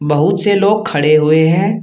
बहुत से लोग खड़े हुए हैं।